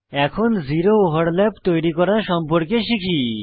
এখন zero overlap তৈরি করা সম্পর্কে শিখি